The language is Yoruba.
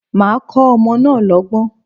Màá kọ́ ọmọ náà lọ́gbọ́n.